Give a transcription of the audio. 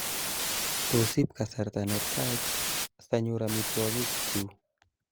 tos iib kasarta netach sanyor amitwangik chu